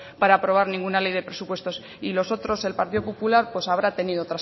para aprobare ninguna ley de presupuestos y los otros el partido popular habrá tenido otras